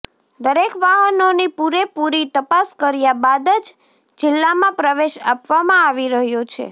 દરેક વાહનોની પુરેપુરી તપાસ કર્યા બાદ જ જીલ્લામાં પ્રવેશ આપવામાં આવી રહ્યો છે